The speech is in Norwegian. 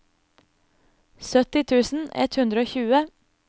sytti tusen ett hundre og tjue